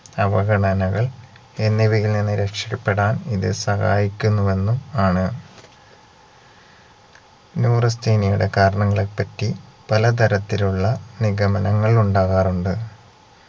അവഗണനകൾ എന്നിവയിൽ നിന്ന് രക്ഷപെടാൻ ഇത് സഹായിക്കുന്നു എന്നും ആണ് neurasthenia യുടെ കാരണങ്ങളെപ്പറ്റി പലതരത്തിലുള്ള നിഗമനങ്ങൾ ഉണ്ടാകാറുണ്ട്